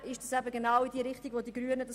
Dies entspricht der Haltung der Grünen: